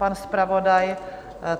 Pan zpravodaj?